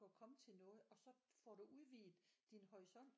At komme til noget og så får du udviget din horisont